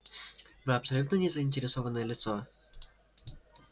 вы абсолютно не заинтересованное лицо